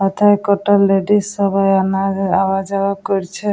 এথায় কটা লেডিস সবাই আনা আওয়া যাওয়া করছে।